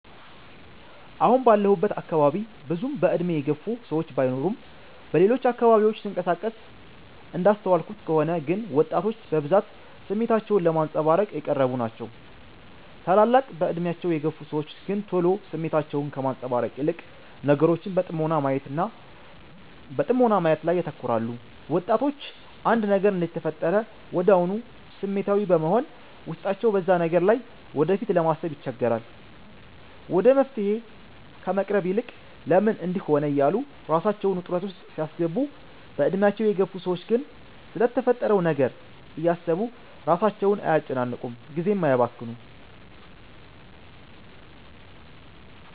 አሁን ባለሁበት አካባቢ ብዙም በእድሜ የገፉ ሰዎች ባይኖርም በሌሎች አካባቢዎች ስንቀሳቀስ እንዳስተዋልኩት ከሆነ ግን ወጣቶች በብዛት ስሜታቸውን ለማንፀባረቅ የቀረቡ ናቸው። ታላላቅ በእድሜያቸው የግፍ ሰዎች ግን ቶሎ ስሜታቸውን ከማንፀባረቅ ይልቅ ነገሮችን በጥሞና ማየት ላይ ያተኩራሉ። ወጣቶች አንድ ነገር እንደተፈጠረ ወድያውኑ ስሜታዊ በመሆን ውስጣቸው በዛ ነገር ላይ ወደፊት ለማሰባሰብ ይቸገራሉ። ወደ መፍትሔ ከመቅረቡ ይልቅ "ለምን እንድህ ሆነ" እያሉ ራሳቸውን ውጥረት ውስጥ ሲያስገቡ፤ በእድሜያቸው የገፉ ሰዎች ግን ስለተፈጠረው ነገር እያሰቡ ራሳቸውን አያጨናንቁም ጊዜም አያባክኑም።